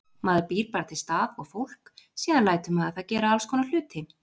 Maður býr bara til stað og fólk, síðan lætur maður það gera allskonar hluti.